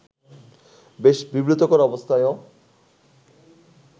বেশ বিব্রতকর অবস্থায়ও